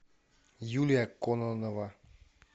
юлия кононова